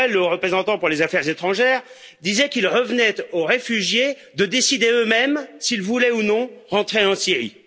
Borrel, haut représentant pour les affaires étrangères, disait qu'il revenait aux réfugiés de décider eux mêmes s'ils voulaient ou non rentrer en Syrie.